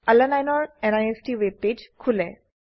আলানিনে ৰ নিষ্ট ওয়েবপেজ খোলে